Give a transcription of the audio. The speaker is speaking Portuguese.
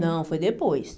Não, foi depois.